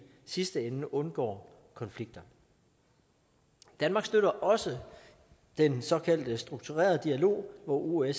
sidste ende undgår konflikter danmark støtter også den såkaldte strukturerede dialog hvor osce